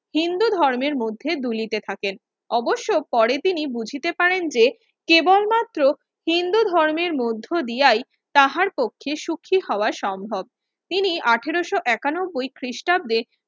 হিন্দু ধর্মের মধ্যে দুলিতে থাকেন অবশ্য পরে তিনি বুঝিতে পারেন যে কেবলমাত্র হিন্ধু ধর্মের মধ্য দিয়াই তাহার পক্ষে সুখী হওয়া সম্ভব তিনি আঠারোশো একানব্ব খৃষ্টাব্দে